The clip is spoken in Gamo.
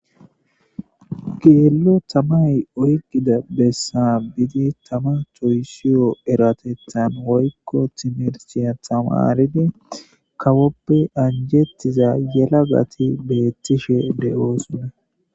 Geello tamay oykida bessa biidi tama toysiyo eratethan woykko timerciya tamaridi kawoppe anjettiza yela gati beettishe de'ooson.